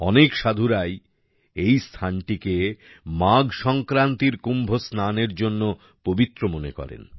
অনেক সাধুরাই এই স্থানটিকে মাঘ সংক্রান্তির কুম্ভ স্নানের জন্য পবিত্র মনে করেন